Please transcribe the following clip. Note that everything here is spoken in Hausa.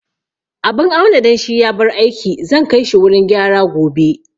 Abun auna danshi ya bar aiki, zan kai shi wurin gyara gobe